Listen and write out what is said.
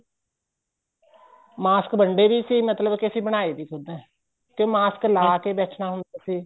mask ਵੰਡੇ ਵੀ ਸੀ ਮਤਲਬ ਕੇ ਅਸੀਂ ਬਣਾਏ ਵੀ ਖੁੱਦ ਏ ਤੇ mask ਲਾਕੇ ਬੈਠਣਾ ਹੁੰਦਾ ਸੀ